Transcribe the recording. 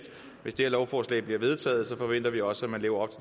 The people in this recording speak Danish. hvis det her lovforslag bliver vedtaget forventer vi også at man lever